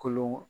Kolon